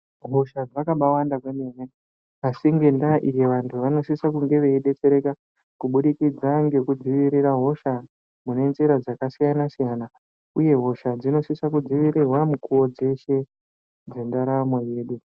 Hosha dzakabawanda kwemene, asi ngendaa iyi vantu vanosise kunge veibetsereka kubudikidza ngekudzivirira hosha mune njira dzakasiyana-siyana, uye hosha dzinosisa kudzivirirwa mukuvo dzeshe dzendaramo yedu.